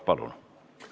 Palun!